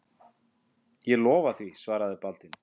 Ég lofa því, svaraði Baldvin.